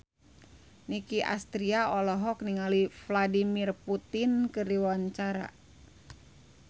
Nicky Astria olohok ningali Vladimir Putin keur diwawancara